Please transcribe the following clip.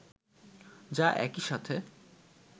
যা একই সাথে